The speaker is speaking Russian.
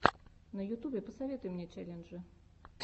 на ютубе посоветуй мне челленджи